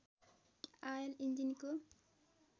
oil इन्जिनको